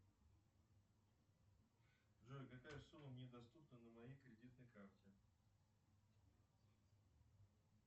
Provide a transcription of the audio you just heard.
джой какая сумма мне доступна на моей кредитной карте